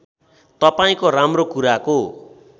तपाईँको राम्रो कुराको